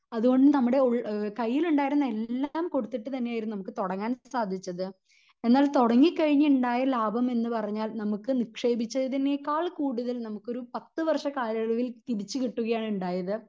അത് കൊണ്ട് നമ്മുടെ കയ്യിൽ ഉണ്ടായിരുന്ന എല്ലാം കൊടുത്തിട്ട് തന്നെ ആയിരുന്നു നമുക്ക് തൊടങ്ങാൻ സാധിച്ചത് എന്നാൽ തൊടങ്ങി കഴിഞ്ഞ് ഉണ്ടായ ലാഭം എന്ന് പറഞ്ഞാൽ നമുക്ക് നിക്ഷേപിച്ചതിനേക്കാൾ കൂടുതൽ നമുക്കൊരു പത്ത് വർഷ കാലയളവിൽ തിരിച്ച് കിട്ടുകയാണ് ഉണ്ടായത്